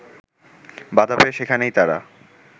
বাধা পেয়ে সেখানেই তারা